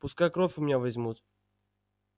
пускай кровь у меня возьмут